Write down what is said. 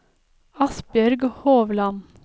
Asbjørg Hovland